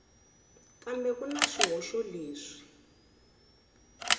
kambe ku na swihoxo leswi